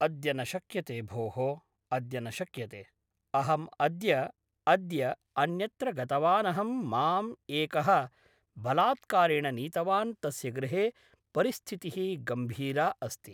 अद्य न शक्यते भोः अद्य न शक्यते अहम् अद्य अद्य अन्यत्र गतवानहं मां एकः बलात्कारेण नीतवान् तस्य गृहे परिस्थितिः गम्भीरा अस्ति